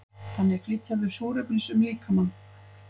þannig flytja þau súrefnis um líkamann